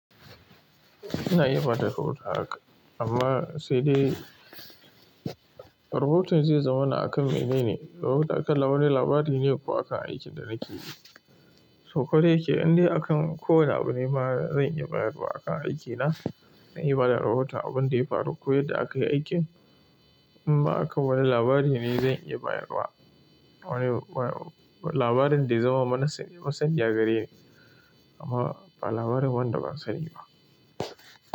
Ina iya bada rahoto haka, amma sai dai rahoton zai zama na akan menene. Rahoton akan na wani labari ne ko akan aikin da nake yi. To koda yake, in dai akan ko wane abu ne ma zan iya bayarwa akan aikina. Zan iya bada rahoto abin da ya faru ko yadda akayi aikin. In ma akan wani labari ne zan iya bayarwa. Wani labarin da ya zama, masani a gare ni amma ba labarin wanda ban sani ba.